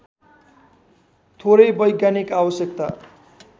थोरै वैज्ञानिक आवश्यकता